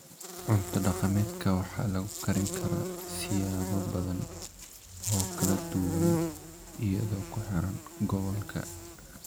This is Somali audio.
Cunto-dhaqameedka waxaa lagu karin karaa siyaabo badan oo kala duwan iyadoo ku xiran gobolka.